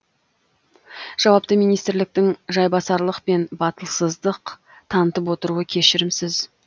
жауапты министрліктің жайбасарлық пен батылсыздық танытып отыруы кешірімсіз